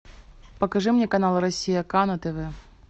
покажи мне канал россия ка на тв